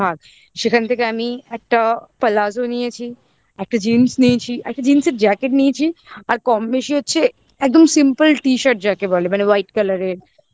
সেখান থেকে আমি একটা palazzo নিয়েছি। একটা jeans নিয়ছি একটা jeans র jacket নিয়ছি আর কম বেশি হচ্ছে একদম simple t-shirt যাকে বলে মানে white colour এর black colour এর